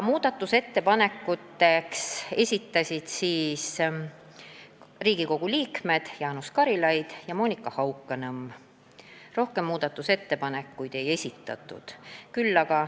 Muudatusettepaneku esitasid Riigikogu liikmed Jaanus Karilaid ja Monika Haukanõmm, rohkem ettepanekuid ei esitatud.